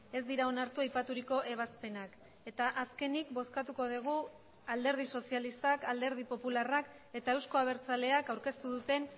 ez dira onartu aipaturiko ebazpenak eta azkenik bozkatuko dugu alderdi sozialistak alderdi popularrak eta euzko abertzaleak aurkeztu duten